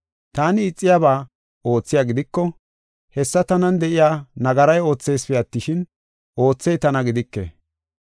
Taani ixiyaba oothiya gidiko, hessa tanan de7iya nagaray ootheesipe attishin, oothey tana gidike.